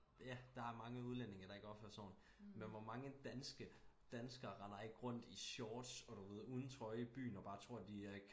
Ja der er mange udlændinge der ikke opfører sig ordentligt men hvor mange danske danskere render ikke rundt i shorts og du ved uden trøje i byen og bare tror de er